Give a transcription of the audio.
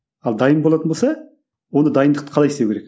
ал дайын болатын болса онда дайындықты қалай істеу керек